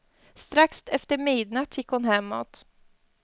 Strax efter midnatt gick hon hemåt.